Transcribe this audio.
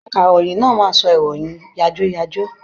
Akaròyìn náà máa sọ ìròyìn yàjóyàjó.